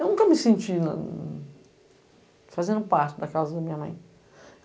Eu nunca me senti fazendo parte da casa da minha mãe.